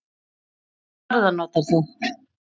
Hvaða farða notar þú?